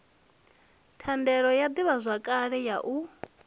thandela ya ḓivhazwakale ya u